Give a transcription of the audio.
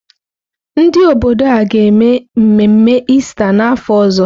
Ndị obodo a ga-eme mmemme Ista n'afọ ọzọ?